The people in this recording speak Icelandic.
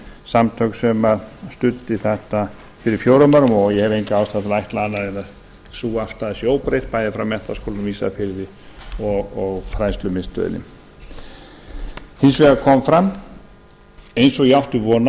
samtök sem studdi þetta fyrir fjórum árum og ég hef enga ástæðu til að ætla annað en að sú afstaða sé óbreytt bæði frá menntaskólanum á ísafirði og fræðslumiðstöðinni hins vegar kom fram eins og ég átti von